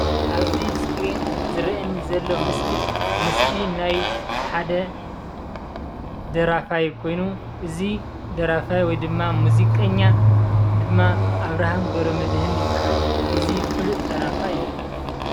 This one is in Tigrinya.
ኣብዚ አስክሪን ዝረኣየኒ ዘሎ ምስሊ ምስሊ ናይ ሓደ ደራፋይ ኮይኑ እዚ ደራፋይ ወይድማ ሙዚቀኛ ድማ ኣብረሃም ገብረመድህን ይበሃል። እዚ ፍሉጥ ደራፋይ እዩ።